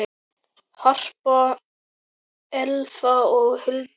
Harpa, Elfa og Hulda.